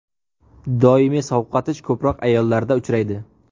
Doimiy sovqotish ko‘proq ayollarda uchraydi.